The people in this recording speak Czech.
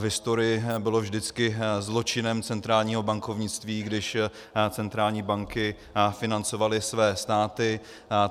V historii bylo vždycky zločinem centrálního bankovnictví, když centrální banky financovaly své státy.